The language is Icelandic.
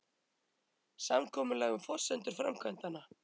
Samkomulag um forsendur framkvæmdanna